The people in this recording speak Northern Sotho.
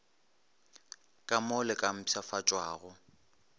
ka mo le ka mpshafatšwago